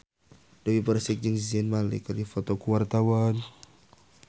Dewi Persik jeung Zayn Malik keur dipoto ku wartawan